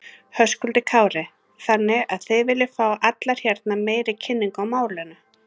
Höskuldur Kári: Þannig að þið viljið fá allar hérna meiri kynningu á málinu?